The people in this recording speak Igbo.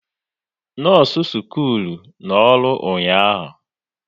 Nọọsụ skuulu nọ ọrụ ụnyaahụ